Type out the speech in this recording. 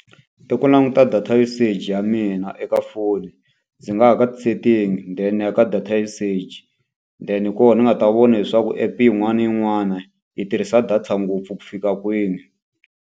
I ku languta data usage ya mina eka foni. Ndzi nga ya ka ti-sitting then ya ka data usage, then koho ni nga ta vona leswaku app yin'wana na yin'wana yi tirhisa data ngopfu ku fika kwini.